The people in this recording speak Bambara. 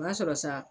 O y'a sɔrɔ sa